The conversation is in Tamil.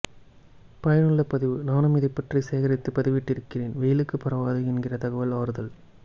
பயனுள்ள பதிவு நானும் இதை பற்றி சேகரித்து பதிவிட்டு இருக்கிறேன் வெயிலுக்கு பரவாது என்கிற தகவல் ஆறுதல்